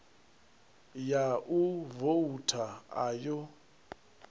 ya u vouta a yo